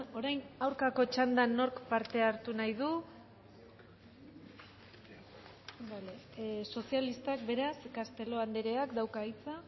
orain aurkako txandan nork parte hartu nahi du bale sozialistak beraz castelo andereak dauka hitza